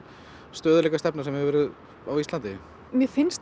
stöðugleikastefna sem hefur verið á Íslandi mér finnst